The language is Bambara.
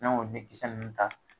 N'an y'o den kisɛ nunnu ta